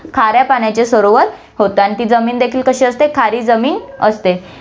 खाऱ्या पाण्याचे सरोवर होते आणि ती जमीन देखील कशी असते, खारी जमीन असते.